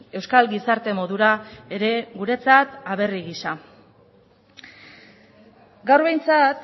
euskal gizarte modura ere guretzat aberri gisa gaur behintzat